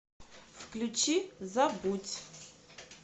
включи забудь